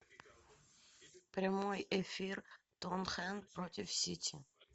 прямой эфир тоттенхэм против сити